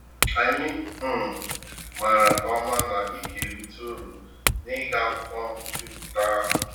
Anyị um mara nke ọma na ị ga-erite uru n'ịgụ akwụkwọ mbipụta a.